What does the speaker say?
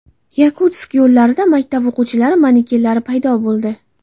Yakutsk yo‘llarida maktab o‘quvchilari manekenlari paydo bo‘ldi.